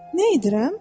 Nə edirəm?